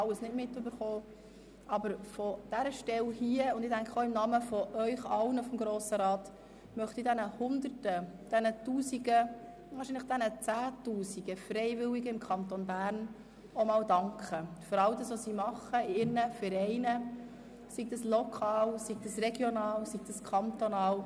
Das haben wir leider nicht mitbekommen, aber von dieser Stelle aus, und ich denke auch im Namen von Ihnen seitens des Grossen Rats, möchte ich den Hunderten und Tausenden, wahrscheinlich sogar Zehntausenden Freiwilligen im Kanton Bern einmal für all das danken, was sie in ihren Vereinen, lokal, regional und kantonal tun.